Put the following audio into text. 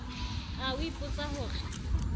a o ipotsa ho re